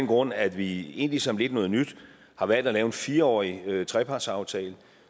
grund at vi egentlig som lidt noget nyt har valgt at lave en fireårig trepartsaftale